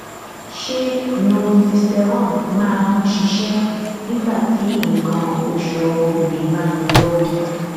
ṣé northisterone máa ń ṣiṣẹ nígbà tí nǹkan osu ọmọbìnrin bá ń lọ lọwọ